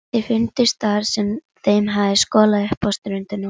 Þeir fundust þar sem þeim hafði skolað upp á ströndina.